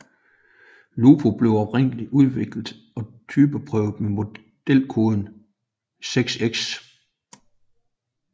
Lupo blev oprindeligt udviklet og typeprøvet med modelkoden 6X